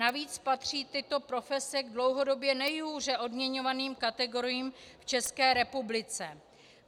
Navíc patří tyto profese k dlouhodobě nejhůře odměňovaným kategoriím v České republice.